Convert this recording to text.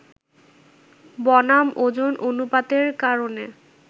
বনাম ওজন অনুপাতের কারণে